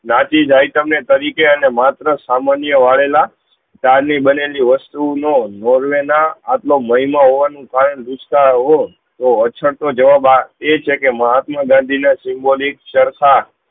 તરીકે તમને અને માત્ર સામાન્ય વળેલા ચા ની બનેલી વસ્તુ નો નોર્વે ના આટલો મહિન હોવા તો એ છે કે માપ ના દાદીના symbolic ચરખા